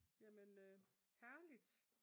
Det var Kurt ja ja ja jamen herligt